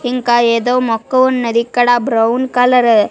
ఇంకా ఏదో మొక్కు వున్నది ఇక్కడ బ్రౌన్ కలర్ --